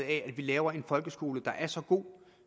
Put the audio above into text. af at vi laver en folkeskole der er så god